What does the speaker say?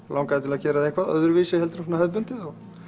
langaði til að gera það eitthvað öðruvísi heldur en hefðbundið